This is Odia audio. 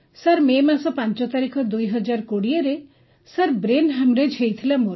ସାର୍ ୫ ମେ ୨୦୨୦ରେ ମତେ ସାର୍ ବ୍ରେନ୍ ହେମରେଜ୍ ହେଇଥିଲା